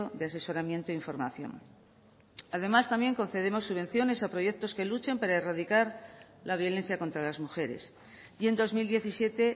de asesoramiento información además también concedemos subvenciones a proyectos que luchen para erradicar la violencia contra las mujeres y en dos mil diecisiete